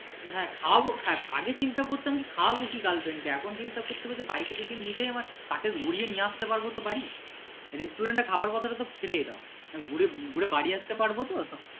হ্যাঁ খাওয়াবো হ্যাঁ আগে কিন্তু আগে চিন্তা করতাম যে খাওয়াবো কি girlfriend কে এখন কিন্তু এখন চিন্তা করতে হচ্ছে bike এ যদি নিয়ে যাই আবার তাকে ঘুরিয়ে নিয়ে আসতে পারবো তো বাড়ি restaurant এ যাওয়ার কথা তো ছেড়েই দাও ঘুরে বাড়ি আসতে পারবো তো।